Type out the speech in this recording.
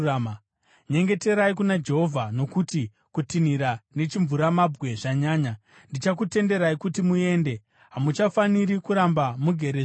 Nyengeterai kuna Jehovha, nokuti kutinhira nechimvuramabwe zvanyanya. Ndichakutenderai kuti muende; hamuchafaniri kuramba mugerezve muno.”